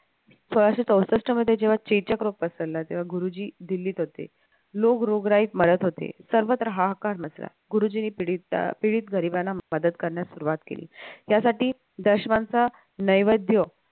सोळाशे चौसष्ट मध्ये जेव्हा कीचक रोग पसरला तेव्हा गुरुजी दिल्लीत होते लोक रोगराईत मरत होते सर्वत्र हाहाकार मचला गुरुजींनी पीडित गरिबांना मदत करण्यास सुरुवात केली त्यासाठी दशवांचा नैवेद्य